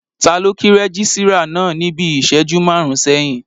Taló o kí rẹ́gísírà náà níbi ìṣẹ́jú máàrún sẹ́yìn?